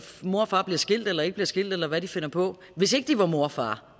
mor og far bliver skilt eller ikke bliver skilt eller hvad de finder på hvis ikke de var mor og far